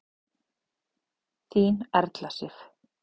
Þín Erla Sif.